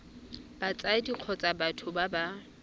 batsadi kgotsa batho ba ba